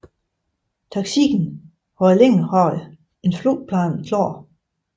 Thaksin havde længe haft en flugtplan klar